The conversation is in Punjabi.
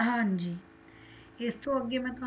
ਹਾਂਜੀ ਇਸਤੋਂ ਅੱਗੇ ਮੈਂ